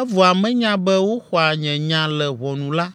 evɔa menya be woxɔa nye nya le ʋɔnu la,